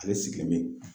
Ale sigilen